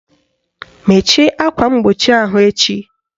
Mechie akwa mgbochi ahụ echi!